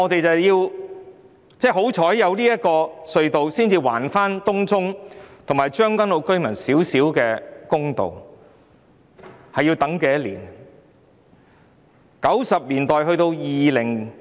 幸好有這兩條隧道，才能還東涌及將軍澳居民少許公道，但他們已等候多久呢？